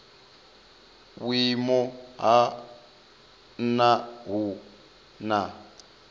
vhuimo ha nha hu na